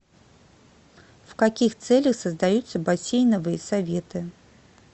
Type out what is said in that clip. в каких целях создаются бассейновые советы